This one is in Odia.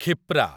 କ୍ଷିପ୍ରା